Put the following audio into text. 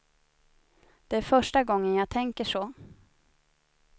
Det är första gången jag tänker så.